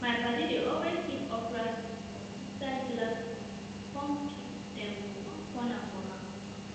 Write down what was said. my paddy dey always keep okra seed for inside glass container com keep dem for onr corner for her room